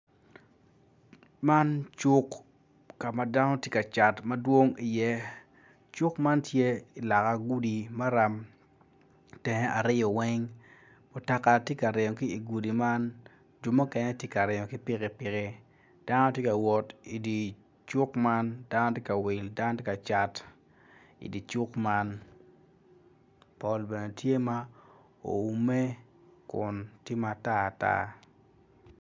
Man cuk ka ma dano gitye ka cat madwong iye cuk man tye i loka gudi maram i teng aryo weng mutoka tye ka ringo i teng gudi man ho mukene gitye ka ringo ki pikipiki dano gitye ka wot dano gitye ka cat dano gitye ka will.